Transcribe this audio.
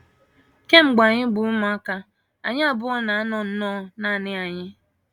Kemgbe anyị bụ ụmụaka, anyị abụọ na - anọ nnọọ nanị anyị.